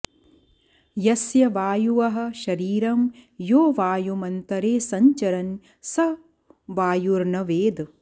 यस्य वायुअः शरीरं यो वायुमन्तरे संचरन् य वायुर्न वेद